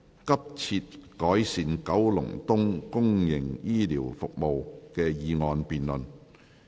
"急切改善九龍東公營醫療服務"的議案辯論。